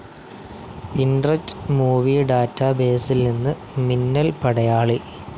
ഇന്റ്രെറ്റ് movie data ബസിൽ നിന്ന് മിന്നൽ പടയാളി